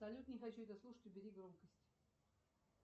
салют не хочу это слушать убери громкость